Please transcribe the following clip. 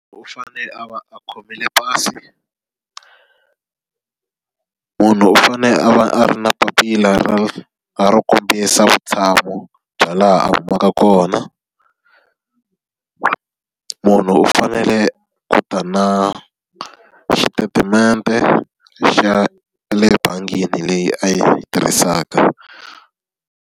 U fanele a va a khomile pasi munhu u fanele a va a ri na papila ra ro kombisa vutshamo bya laha a humaka kona. Munhu u fanele ku ta na xitetimende xa le bangini leyi a yi tirhisaka.